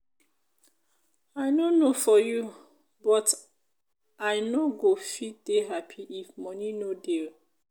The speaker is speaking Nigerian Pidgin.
i no know for you but i no go fit dey happy if money no dey